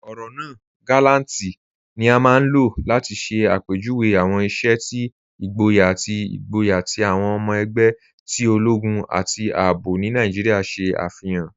Ọrọ naa "gàlàntì" ni a maa n lọ́ láti ṣẹ̀ apẹjúwé awọn iṣẹ̀ ti igbóyà ati igbóyà ti awọn ọmọ ẹgbẹ̀ ti ologun ati ààbò ni Naijíríà ṣe afihan.